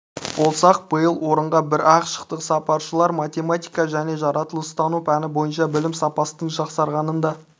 болсақ биыл орынға бір-ақ шықтық сарапшылар математика және жаратылыстану пәні бойынша білім сапасының жақсарғанын да